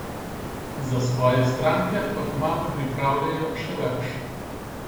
Za svoje stranke pa kmalu pripravljajo še več!